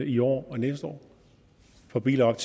i år og næste år for biler op